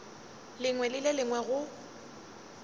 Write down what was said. lengwe le le lengwe go